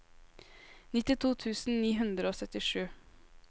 nittito tusen ni hundre og syttisju